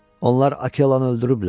Onlar Akelanı öldürüblər.